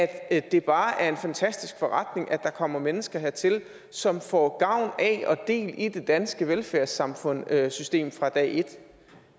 at det bare er en fantastisk forretning at der kommer mennesker hertil som får gavn af og del i det danske velfærdssamfundssystem fra dag et